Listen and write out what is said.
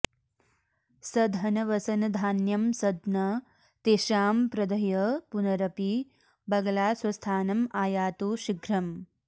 सधनवसनधान्यं सद्म तेषां प्रदह्य पुनरपि बगला स्वस्थानमायातु शीघ्रम्